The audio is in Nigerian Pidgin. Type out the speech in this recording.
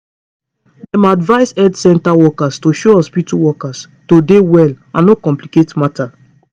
dem advise health center workers to show hospitu workers to dey well and no complicate matter